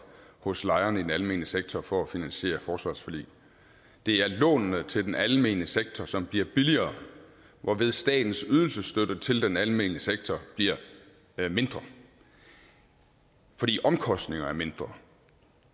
hos lejerne i den almene sektor for at finansiere et forsvarsforlig det er lånene til den almene sektor som bliver billigere hvorved statens ydelsesstøtte til den almene sektor bliver mindre fordi omkostningerne er mindre